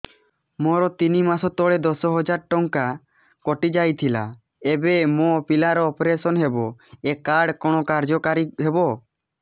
ମୋର ତିନି ମାସ ତଳେ ଦଶ ହଜାର ଟଙ୍କା କଟି ଯାଇଥିଲା ଏବେ ମୋ ପିଲା ର ଅପେରସନ ହବ ଏ କାର୍ଡ କଣ କାର୍ଯ୍ୟ କାରି ହବ